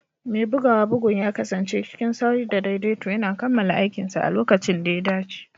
Mai buga bugun ya kasance cikin sauri da daidaito yana kammala aikinsa a lokacin da ya dace.